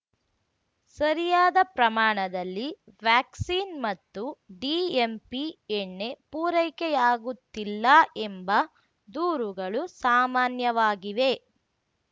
ಸರಿಯಾದ ಪ್ರಮಾಣದಲ್ಲಿ ವ್ಯಾಕ್ಸಿನ್‌ ಮತ್ತು ಡಿಎಂಪಿ ಎಣ್ಣೆ ಪೂರೈಕೆಯಾಗುತ್ತಿಲ್ಲ ಎಂಬ ದೂರುಗಳು ಸಾಮಾನ್ಯವಾಗಿವೆ